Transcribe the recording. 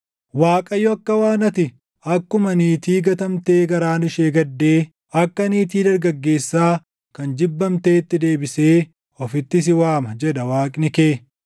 Waaqayyo akka waan ati akkuma niitii gatamtee garaan ishee gaddee, akka niitii dargaggeessaa kan jibbamteetti deebisee ofitti si waama” jedha Waaqni kee.